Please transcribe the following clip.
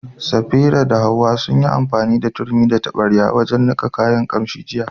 Safira da Hawwa sun yi amfani da turmi da taɓarya wajen niƙa kayan ƙamshi jiya.